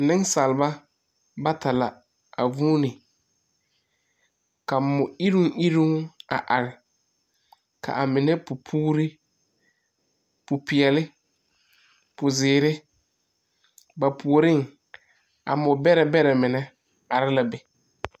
Nensaalba bata la a vuunee, ka mo-iruŋ-iruŋ a are kaa mine pu puuri, popeɛle, pozeere. Ba puoriŋ a mobɛrɛbɛrɛ are la be.